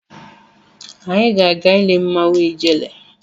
Anyị ga-aga ile mmanwụ Ijele.